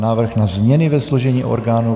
Návrh na změny ve složení orgánů